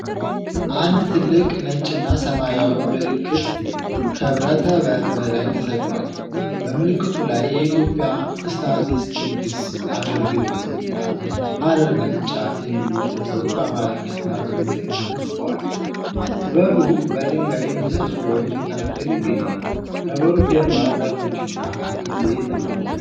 አንድ ትልቅ ነጭና ሰማያዊ ምልክት ከብረት በር በላይ ተሰቅሏል፡። በምልክቱ ላይ "የኢትዮጵያ ስታቲስቲክስ አገልግሎት" እና "ሐረር ቅርንጫፍ" የሚሉ ጽሑፎች በአማርኛና በእንግሊዝኛ ተጽፈዋል፡። በሩ በድንጋይ ምሰሶዎች መካከል ይገኛል፡። ከበሩ ጀርባ ዛፎችና አንድ ቤት አሉ።